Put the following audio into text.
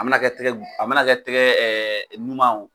A mɛna kɛ tɛgɛ a mɛna kɛ tɛgɛ ɲumanw